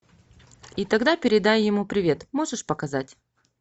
и тогда передай ему привет можешь показать